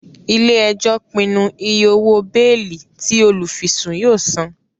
Ile-ẹjọ pinnu ìyè òwò beeli tí olufisun yóò sàn